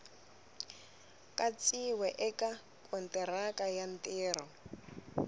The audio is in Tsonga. katsiwa eka kontiraka ya ntirho